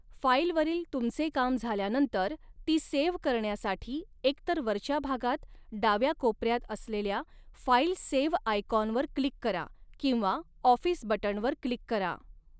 File वरील तुमचे काम झाल्यानंतर ती सेव्ह करण्यासाठी एक तर वरच्या भागात डाव्या कोप़ऱ्यात असलेल्या फाईल सेव्ह आयकॉनवर क्लिक करा किंवा ऑफिस बटणवर क्लिक करा.